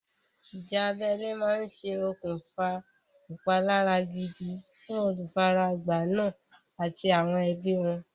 Ìjà abẹ́lé máa ṣe okùnfà ìpalára gidi fún olùfaragbá náà àti àwọn ẹbí wọn.